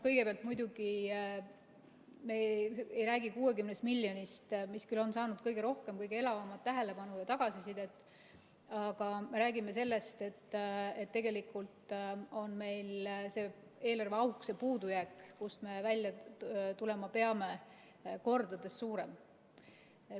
Kõigepealt, muidugi ei räägi me 60 miljonist, mis küll on saanud kõige rohkem, kõige elavamat tähelepanu ja tagasisidet, aga me räägime sellest, et tegelikult on meil see eelarveauk, see puudujääk, kust me välja tulema peame, mitu korda suurem.